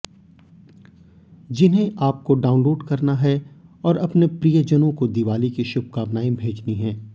जिन्हें आपको डाउनलोड करना है और अपने प्रियजनों को दिवाली की शुभकामनाएं भेजनी है